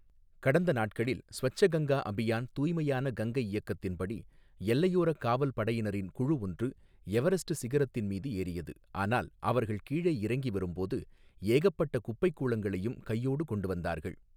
கடந்த நாட்களில் ஸ்வச்ச கங்கா அபியான், தூய்மையான கங்கை இயக்கத்தின்படி, எல்லையோரக் காவல்படையினரின் குழு ஒன்று எவரஸ்ட் சிகரத்தின் மீது ஏறியது, ஆனால் அவர்கள் கீழே இறங்கி வரும்போது, ஏகப்பட்ட குப்பைக்கூளங்களையும் கையோடு கொண்டு வந்தார்கள்.